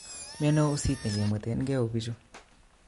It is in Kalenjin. Miano usit nekemwetenke o bichu?